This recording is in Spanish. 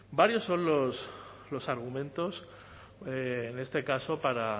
varios son los argumentos en este caso para